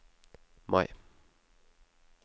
Mai